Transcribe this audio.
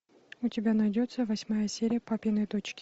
у тебя найдется восьмая серия папины дочки